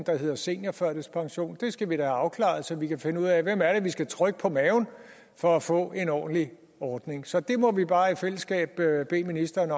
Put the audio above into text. der hedder seniorførtidspension det skal vi da have afklaret så vi kan finde ud af hvem det er vi skal trykke på maven for at få en ordentlig ordning så det må vi bare i fællesskab bede ministeren